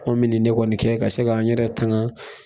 Anw min nin de kɔni kɛ ka se k'an n yɛrɛ tanga.